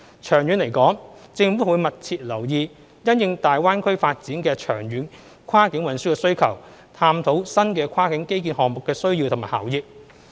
長遠而言，政府會密切留意因應大灣區發展的長遠跨境運輸需求，探討新的跨境基建項目的需要及效益。